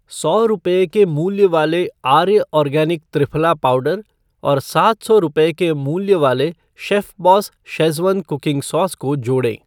सौ रुपये के मूल्य वाले आर्य आर्गेनिक त्रिफला पाउडर और सात सौ रूपये के मूल्य वाले शेफ़बॉस शेज़वान कुकिंग सॉस को जोड़ें।